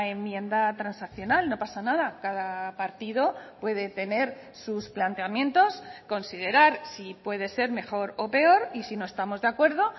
enmienda transaccional no pasa nada cada partido puede tener sus planteamientos considerar si puede ser mejor o peor y si no estamos de acuerdo